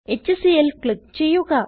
HClൽ click ചെയ്യുക